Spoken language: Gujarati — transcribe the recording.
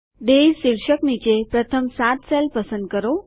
ડેયઝ શીર્ષક નીચે પ્રથમ સાત સેલ પસંદ કરો